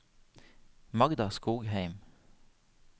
Magda Skogheim